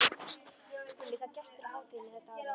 Hún er líka gestur á hátíðinni þetta árið.